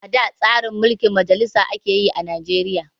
Ada tsarin mulkin majalisa ake yi a Najeriya